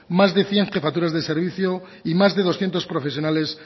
más de cien jefaturas de servicio y más de doscientos profesionales